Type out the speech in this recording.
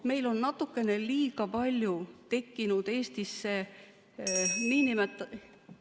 Meil on natukene liiga palju tekkinud Eestisse nn ...